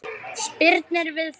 Spyrnir við fótum.